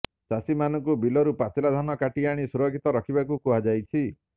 ଚାଷୀମାନଙ୍କୁ ବିଲରୁ ପାଚିଲା ଧାନ କାଟି ଆଣି ସୁରକ୍ଷିତ ରଖିବାକୁ କୁହାଯାଇଛି